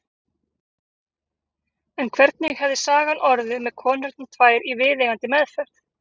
En hvernig hefði sagan orðið með konurnar tvær í viðeigandi meðferð?